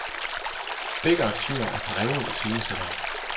Begge aktører er drevne iscenesættere.